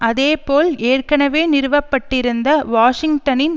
அதேபோல் ஏற்கனவே நிறுவ பட்டிருந்த வாஷிங்டனின்